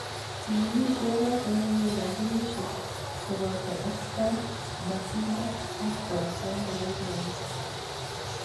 Chikilishe noto ne kiyay kampunishe koboton Oxfam, PACIDA ak Concern Worldwide.